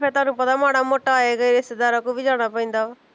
ਫਿਰ ਤੁਹਾਨੂੰ ਮਾੜਾ ਮੋਟਾ ਆਏ ਗਏ ਰਿਸ਼ਤੇਦਾਰਾਂ ਕੋਲ ਵੀ ਜਾਣਾ ਪੈਂਦਾ ਵਾ